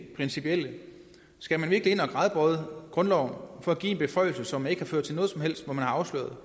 principielle skal man virkelig ind og gradbøje grundloven for at give en beføjelse som ikke har ført til man har afsløret